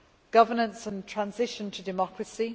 governance and transition to democracy